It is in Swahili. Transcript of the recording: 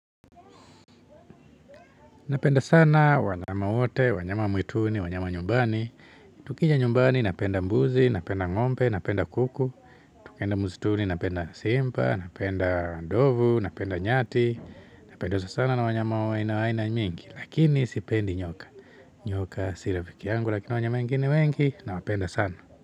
Napenda sana wanyama wote, wanyama wa mwituni, wanyama wa nyumbani. Tukija nyumbani napenda mbuzi, napenda ng'ombe, napenda kuku tukienda msituni, napenda simba, napenda ndovu, napenda nyati. Napendezwa sana na wanyama wa aina aina mingi. Lakini sipendi nyoka. Nyoka si rafiki yangu, lakini wanyama wengine wengi. Nawapenda sana.